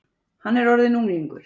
Hann er orðinn unglingur.